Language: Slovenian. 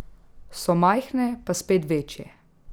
So majhne pa spet večje.